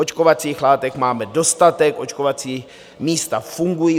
Očkovacích látek máme dostatek, očkovací místa fungují.